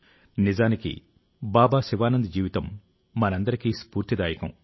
నిజానికి బాబా శివానంద్ జీవితం మనందరికీ స్ఫూర్తిదాయకం